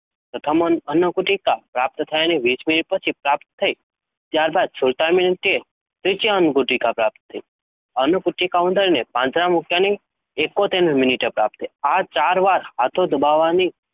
પ્રથમ અન્નગુટિકા પ્રાપ્ત થયાની વિસ મિનિટ પછી પ્રાપ્ત થઈ. ત્યારબાદ સુડતાલીસ મિનિટે ત્રીજી અન્નગુટિકા પ્રાપ્ત થઇ અન્નગુટિકા ઉંદરને પાંજરામાં મૂક્યાની એકોતેર મિનિટે પ્રાપ્ત થઈ. આ ચાર વાર હાથો દબાવવાની